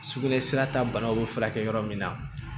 Sugunɛsira ta banaw bɛ furakɛ yɔrɔ min na